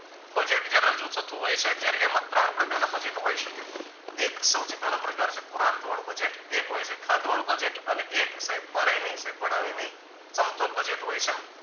budget જ્યાં રજુ થતું હોય છે ત્યારે એમાં ત્રણ પ્રકારના budget હોય શકે એ સૌથી પેહલો પ્રકાર છે પુરાંતવાળું budget એક હોય છે ખાધવાળુ budget અને સાહેબ મારે નઈ સાહેબ ભણાવે નઈ સમતોલ budget હોય છે.